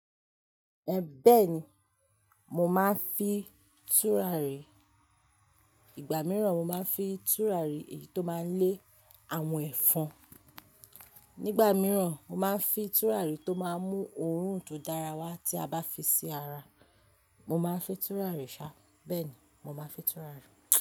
Ẹ bẹ́ẹ̀ni, mo máa ń fi tùràrí. Igba mìíràn mo máa ń fi tùràrí èyí tó máa ń lé àwọn ẹ̀fọn. Nígbà mìíràn mo máa ń fi tùràrí tó máa ń mú òórùn tó dára wá tí a bá fi sí ara. Mo máa ń fi tùràrí ṣá, bẹ́ẹ̀ ni, mo máa ń fi tùràrí.